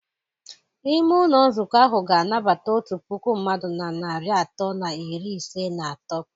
Ime ụlọ nzukọ ahụ ga-anabata otu puku mmadụ na narị atọ na iri ise na atọ.